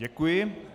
Děkuji.